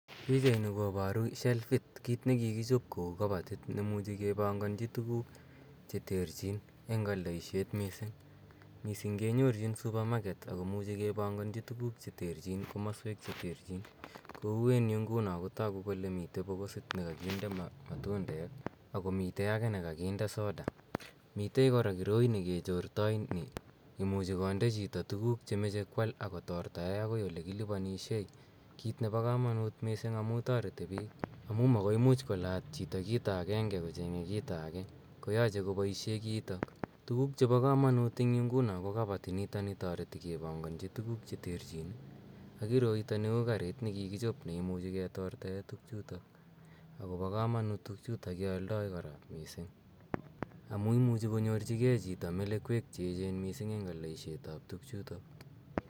Pichaini koparu shelfit , kiit ne kikichop kou kapatiit ne muchi kepanganchi tuguuk che terchiin eng' aldaisiet missing'. Missing' kenyorchin supermarket ako muchi kepanganchi tuguuk che terchin eng' komasweek che terchin kou eng' yu nguno kotaku kole mitei pokosit ne kakinde matundek ako mitei age ne kakinde soda. Mitei kora kiroi ne ketortoi ne imuche konde chito tuguuk ako tortae akoi ole kilipanishe, kiit nepo kamanuut missing' amu tareti piik, amu makoi imuch kolaat chito kito agenge kocheng'e kito age koyache kopaishe kiitok. Tuguuk chepo kamanuut eng' nguno ko kapatinitani tareti kepanganchi tuguuk che terchin ak kiroitani uu kariit ne kikichop si ketortaei tugchutok. Ako pa kamanuut tugchutok ke aldai kora missing' amu imuchi konyorchihei xhito melekeek che chang' missing' eng' aldaisiet ap tugchutok.